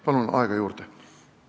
Palun aega juurde!